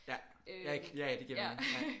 Ja. Ja ja det giver mening ja